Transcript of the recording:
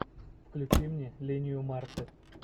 включи мне линию марты